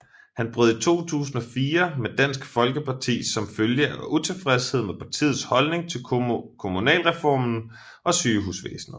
Han brød i 2004 med Dansk Folkeparti som følge af utilfredshed med partiets holdning til kommunalreformen og sygehusvæsenet